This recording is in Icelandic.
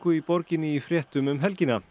í borginni í fréttum um helgina